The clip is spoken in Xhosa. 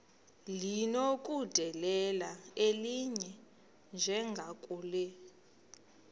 linokudedela elinye njengakule